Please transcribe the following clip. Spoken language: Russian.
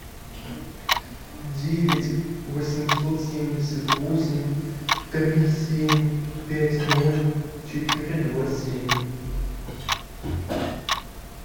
девять восемьсот семьдесят восемь три семь пять ноль четыре два семь